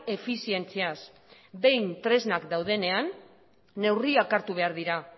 efizientziaz behin tresnak daudenean neurriak hartu behar dira